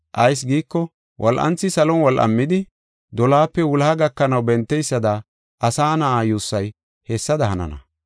Ayis giiko, wol7anthi salon wol7amidi, dolohape wuloha gakanaw benteysada, Asa Na7aa yuussay hessada hanana.